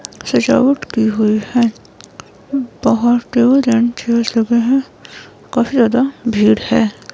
सजावट की हुई है बाहर टेबल एंड चेयर है काफी ज्यादा भीड़ है.